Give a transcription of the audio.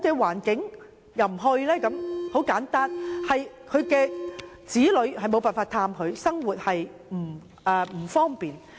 原因很簡單，是因為子女無法前往探訪，生活不便。